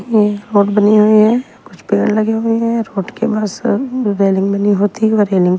यह रोट बनी हुई है कुछ पेड़ लगे हुए हैं रोट के बस रेलिंग बनी होती है और रेलिंग --